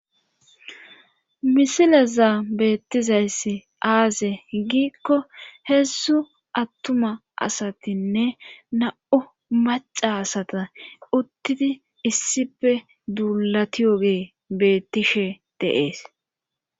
misilezaa beettizayssi aaze giikko heessu attuma asatinne na7u maca asata uttidi issipe duulatiyogee beettishe deees